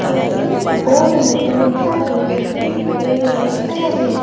और इस बोर्ड में लिखा है वी कैर युअर फेवरेट ।